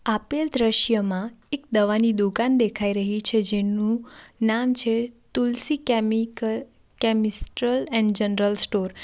આપેલ દ્રશ્યમાં એક દવાની દુકાન દેખાઈ રહી છે જેનું નામ છે Tulsi chemical chemist and general store .